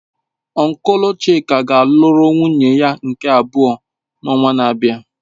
Ọnklu chika ga-alụrụ nwunye ya nke abụọ n'ọnwa na-abịa.